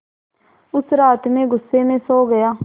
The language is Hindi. उस रात मैं ग़ुस्से में सो गया